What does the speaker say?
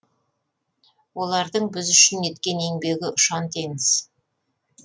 олардың біз үшін еткен еңбегі ұшан теңіз